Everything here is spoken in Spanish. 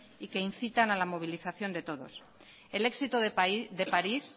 y que incitan a la movilización de todos el éxito de parís